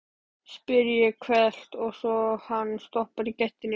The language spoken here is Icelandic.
spyr ég hvellt, svo hann stoppar í gættinni.